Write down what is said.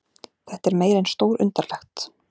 Þetta er meira en stórundarlegt